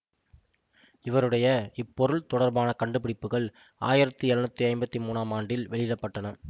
இவருடைய இப்பொருள் தொடர்பான கண்டுபிடிப்புக்கள் ஆயிரத்தி எழுநூற்றி ஐம்பத்தி மூன்னாம் ஆண்டில் வெளியிட பட்டன